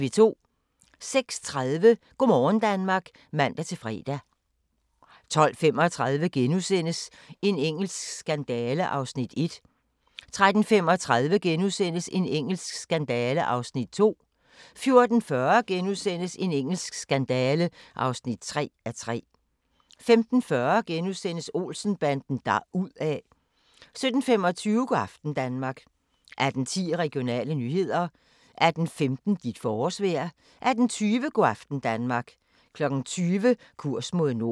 06:30: Go' morgen Danmark (man-fre) 12:35: En engelsk skandale (1:3)* 13:35: En engelsk skandale (2:3)* 14:40: En engelsk skandale (3:3)* 15:40: Olsen-banden deruda' * 17:25: Go' aften Danmark 18:10: Regionale nyheder 18:15: Dit forårsvejr 18:20: Go' aften Danmark 20:00: Kurs mod nord